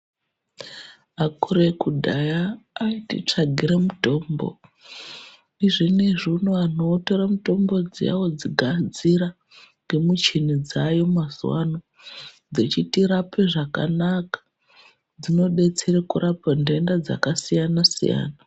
Akuru ekudhaya atitsvagire mutombo, zvinezvi uno anhu otore mutombo dziya odzigadzira nemuchini dzaayo mazuvano dzechitirape zvakanaka dzinodetsera kurapa ntenda dzakasiyana siyana.